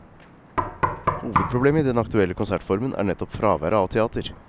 Hovedproblemet i den aktuelle konsertformen er nettopp fraværet av teater.